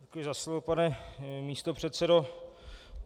Děkuji za slovo, pane místopředsedo.